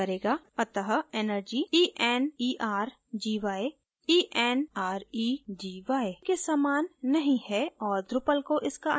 अत: energy – e n e r g y e n r e g y के समान नहीं है और drupal को इसका अंतर पता नहीं है